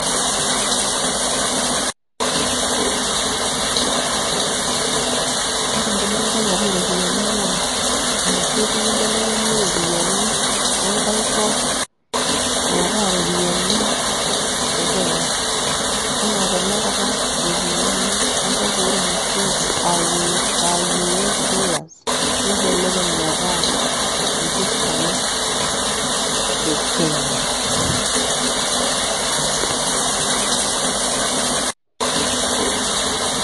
Ore enkibelekenyata oropiyiani naa, enoshi oitoi naibelekenyi iropiyiani enkae kop metaa iropiyiani e Kenya. Enaa tanakata ropiyiani enkop ormusunku ah US dollars, nimbelekeny metaa impisai e Kenya.